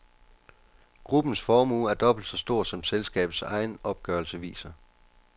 Gruppens formue er dobbelt så stor som selskabets egen opgørelse viser.